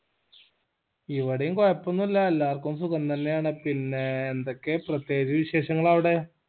ഇവിടേം കോഴപോന്നുല്ല എല്ലാവർക്കും സുഖം തന്നെ ആണ് പിന്നെ എന്തൊക്ക്യാ പ്രത്യേകിച് വിശേഷങ്ങൾ അവ്ടെ